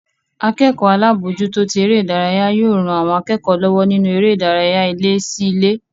Akẹ́kọ̀ọ́ alábòójútó tí eré ìdárayá yóò ran àwọn akẹ́kọ̀ọ́ lọ́wọ́ nínú eré ìdárayá ilé sí ilé